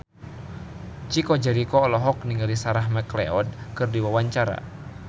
Chico Jericho olohok ningali Sarah McLeod keur diwawancara